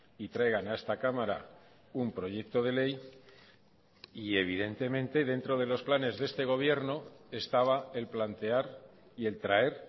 y traigan a esta cámara un proyecto de ley y evidentemente dentro de los planes de este gobierno estaba el plantear y el traer